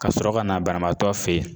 Ka sɔrɔ ka na banabaatɔ fɛ yen